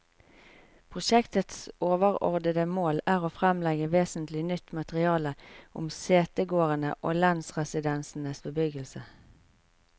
Prosjektets overordede mål er å fremlegge vesentlig nytt materiale om setegårdene og lensresidensenes bebyggelse.